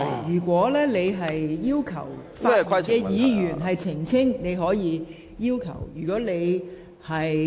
如果你想要求發言的議員澄清，你可以提出要求。